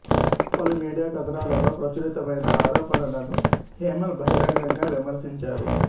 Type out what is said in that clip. పలు మీడియా కథనాలలో ప్రచురితమైన ఆరోపణలను హేమల్ బహిరంగంగా విమర్శించారు